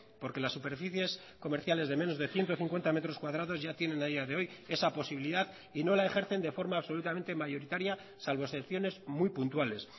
porque las superficies comerciales de menos de ciento cincuenta metros cuadrados ya tienen a día de hoy esa posibilidad y no la ejercen de forma absolutamente mayoritaria salvo excepciones muy puntuales